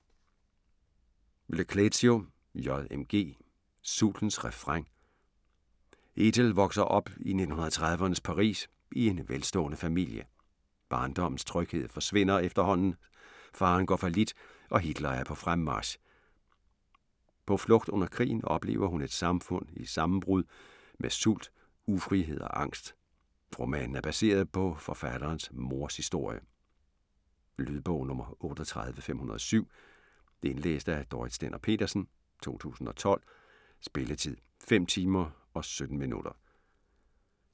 Le Clézio, J. M. G.: Sultens refræn Ethel vokser op i 1930'ernes Paris i en velstående familie. Barndommens tryghed forsvinder efterhånden, faderen går fallit, og Hitler er på fremmarch. På flugt under krigen oplever hun et samfund i sammenbrud med sult, ufrihed og angst. Romanen er baseret på forfatterens mors historie. Lydbog 38507 Indlæst af Dorrit Stender-Petersen, 2012. Spilletid: 5 timer, 17 minutter.